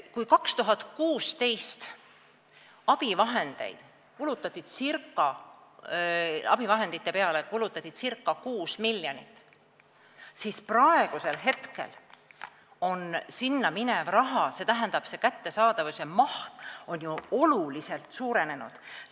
Kui 2016. aastal kulutati abivahendite peale ca 6 miljonit eurot, siis praegu on kättesaadavus oluliselt paranenud.